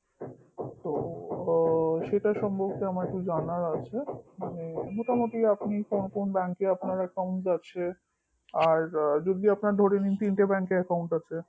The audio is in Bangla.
তো সেটা সম্পর্কে আমার একটু জানার আছে মানে মোটামুটি কোন কোন bank এ আপনার account আছে যদি আপনার ধরে নিন তিনটে bank এ account আছে